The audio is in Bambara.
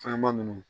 Fɛnma nunnu